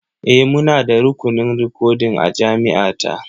E, muna da rukunin rikodin a jami’a ta.